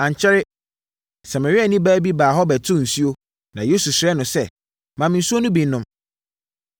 Ankyɛre, Samariani baa bi baa hɔ bɛtoo nsuo, na Yesu srɛɛ no sɛ, “Ma me nsuo no bi nnom.”